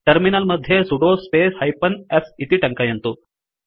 terminal मध्ये sudo space hyphen s इति टङ्कयन्तु